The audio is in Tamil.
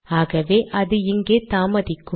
ஆகவே அது அங்கே தாமதிக்கும்